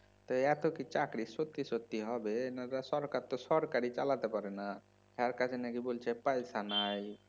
তা এত কি চাকরি সত্যি সত্যি হবে? তা সরকার তো সরকারই চালাতে পারেনা তার কাছে নাকি বলছে পয়সা নাই